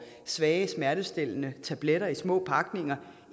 svage smertestillende tabletter i små pakninger